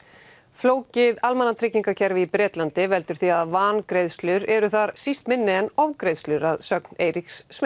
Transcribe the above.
flókið almannatryggingakerfi í Bretlandi veldur því að vangreiðslur eru þar síst minni en ofgreiðslur að sögn Eiríks